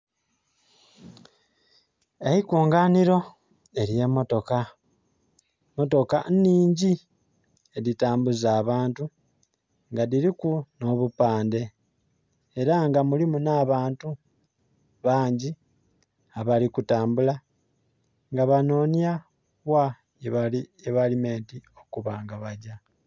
Eikunganhiro ery'emotoka, motoka nhingi, edhitambuza abantu nga dhiriku nh'obupandhe. Era nga mulimu n'abantu bangi abali kutambula nga banoonya wa webali menti okuba nga bagya.